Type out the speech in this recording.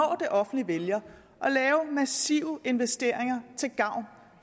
det offentlige vælger at lave massive investeringer til gavn